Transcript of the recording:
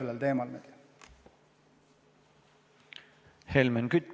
Helmen Kütt, palun!